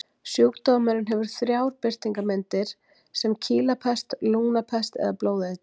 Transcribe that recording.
Sjúkdómurinn hefur þrjár birtingarmyndir, sem kýlapest, lungnapest eða blóðeitrun.